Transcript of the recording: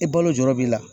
E balo jɔrɔ b'i la